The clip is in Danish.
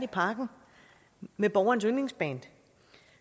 parken med borgerens yndlingsband